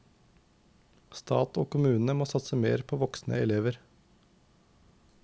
Stat og kommune må satse mer på voksne elever.